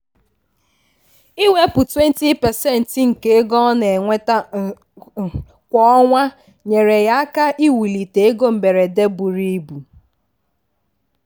"iwepụ 20% nke ego ọ na-enweta kwa ọnwa nyeere ya aka iwulite ego mberede buru ibu."